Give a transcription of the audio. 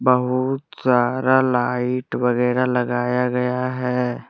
बहुत सारा लाइट वगैरा लगाया गया है।